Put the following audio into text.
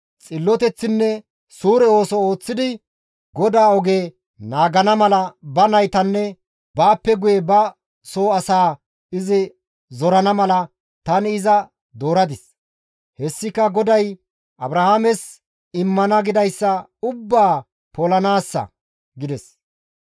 Xilloteththinne suure ooso ooththidi GODAA oge naagana mala ba naytanne baappe guye ba soo asaa izi zorana mala tani iza dooradis; hessika GODAY Abrahaames immana gidayssa ubbaa polanaassa» gides.